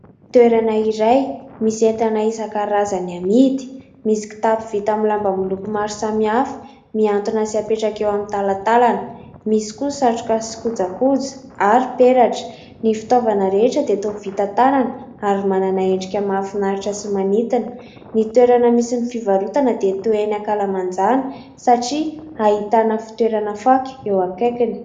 toerana iray misy entana isan-karazany amidy misy kitapo vita amin'ny lamba miloko maro samihafa miantona sy hapetraka eo amin'ny talatalana. Misy koa satroka sy kojakoja ary peratra. Ny fitaovana rehetra dia toa vita tanana ary manana endrika mafinaritra sy manintona. Ny toerana misy ny fivarotana dia toa eny ankalamanjana satria hahitana fitoerana fako eo akaikiny.